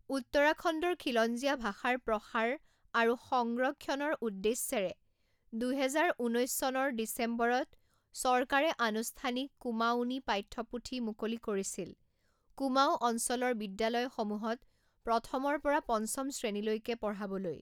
উত্তৰাখণ্ডৰ খিলঞ্জীয়া ভাষাৰ প্ৰসাৰ আৰু সগ্ৰক্ষণৰ উদ্দেশ্যেৰে দুহেজাৰ ঊনৈছ চনৰ ডিচেম্বৰত চৰকাৰে আনুষ্ঠানিক কুমাঊঁনী পাঠ্যপুথি মুকলি কৰিছিল কুমাঊঁ অঞ্চলৰ বিদ্যালয়সমূহত প্ৰথমৰ পৰা পঞ্চম শ্ৰেণীলৈকে পঢ়াবলৈ।